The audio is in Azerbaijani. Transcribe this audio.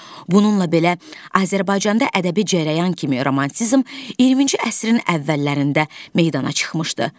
Bununla belə, Azərbaycanda ədəbi cərəyan kimi romantizm 20-ci əsrin əvvəllərində meydana çıxmışdı.